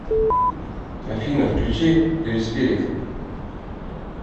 афина включи лилспирит